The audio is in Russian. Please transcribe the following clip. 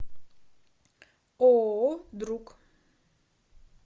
ооо друг